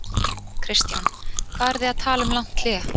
Kristján: Hvað eru þið að tala um langt hlé?